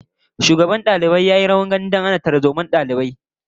Shugaban dalibai ya yi rawar gani wajen hana tarzomar dalibai